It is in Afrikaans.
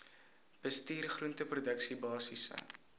bestuur groenteproduksie basiese